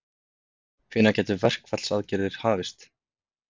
Hvenær gætu verkfallsaðgerðir hafist?